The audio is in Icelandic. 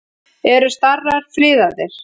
Eru starar friðaðir?